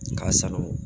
K'a sago